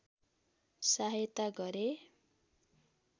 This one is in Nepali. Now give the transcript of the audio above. सहायता गरे